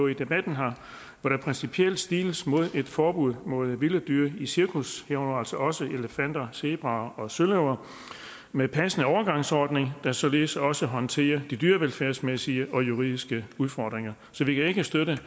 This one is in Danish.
i debatten hvor der principielt stiles mod et forbud mod vilde dyr i cirkus herunder altså også elefanter zebraer og søløver med en passende overgangsordning der således også håndterer de dyrevelfærdsmæssige og juridiske udfordringer så vi kan ikke støtte